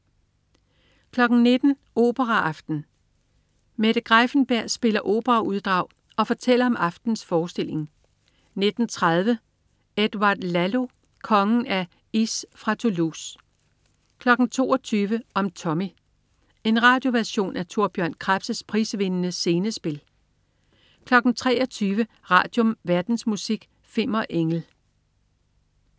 19.00 Operaaften. Mette Greiffenberg spiller operauddrag og fortæller om aftenens forestilling 19.30 Edouard Lalo. Kongen af Ys fra Toulouse 22.00 Om Tommy. En radioversion af Thor Bjørn Krebs' prisvindende scenespil 23.00 Radium. Verdensmusik. Fimmer Engel